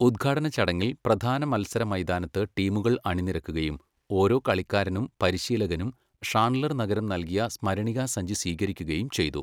ഉദ്ഘാടന ചടങ്ങിൽ, പ്രധാന മത്സര മൈതാനത്ത് ടീമുകൾ അണിനിരക്കുകയും ഓരോ കളിക്കാരനും പരിശീലകനും ഷാൺലർ നഗരം നൽകിയ സ്മരണികാസഞ്ചി സ്വീകരിക്കുകയും ചെയ്തു.